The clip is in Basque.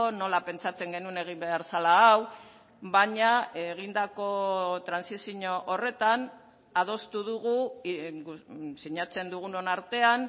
nola pentsatzen genuen egin behar zela hau baina egindako trantsizio horretan adostu dugu sinatzen dugunon artean